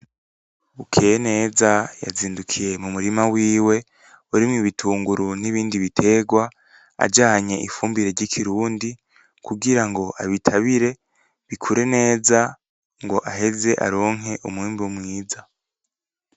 Bukeyeneza yazindukiye mu murima wiwe urimwo ibitunguru n’ibindi bitegwa ajanye ifumbire ry'ikirundi kugirango abitabire bikure neza ngo aheze aronke umwimbu mwiza.